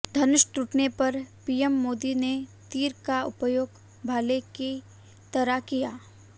धनुष टूटने पर पीएम मोदी ने तीर का उपयोग भाले की तरह किया